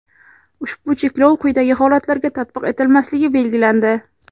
Ushbu cheklov quyidagi holatlarga tatbiq etilmasligi belgilandi:.